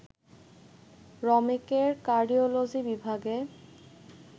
রমেকের cardiology বিভাগে